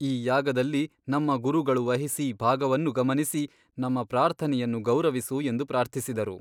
ಈ ಯಾಗದಲ್ಲಿ ನಮ್ಮ ಗುರುಗಳು ವಹಿಸಿ ಭಾಗವನ್ನು ಗಮನಿಸಿ ನಮ್ಮ ಪ್ರಾರ್ಥನೆಯನ್ನು ಗೌರವಿಸು ಎಂದು ಪ್ರಾರ್ಥಿಸಿದರು.